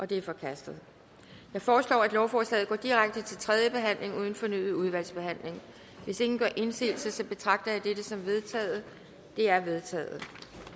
det er forkastet jeg foreslår at lovforslaget går direkte til tredje behandling uden fornyet udvalgsbehandling hvis ingen gør indsigelse betragter jeg dette som vedtaget det er vedtaget